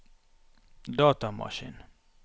datamaskin